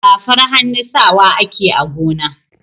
Safar hannu sawa ake a gona.